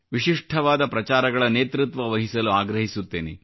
ವಿಶಿಷ್ಠವಾದ ಪ್ರಚಾರಗಳ ನೇತೃತ್ವ ವಹಿಸಲು ಆಗ್ರಹಿಸುತ್ತೇನೆ